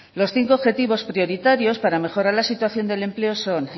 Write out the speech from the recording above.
los cinco objetivos prioritarios para mejorar la situación del empleo son